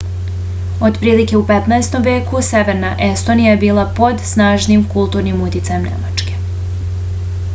otprilike u 15. veku severna estonija je bila pod snažnim kulturnim uticajem nemačke